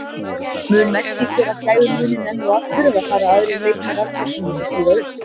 Mun Messi gera gæfumuninn enn og aftur eða fara aðrir leikmenn Argentínu að stíga upp?